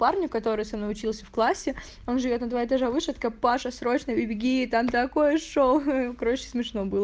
парню который со мной учился в классе он живёт на два этаже выше я такая паша срочно беги там такое шоу короче смешно было